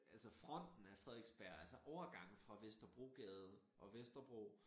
Altså fronten af Frederiksberg altså overgangen fra Vesterbrogade og Vesterbro